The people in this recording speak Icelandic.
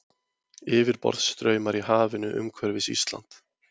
Yfirborðsstraumar í hafinu umhverfis Ísland.